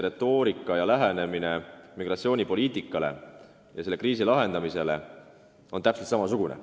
Retoorika ja migratsioonipoliitika, lähenemine selle kriisi lahendamisele on täpselt samasugune.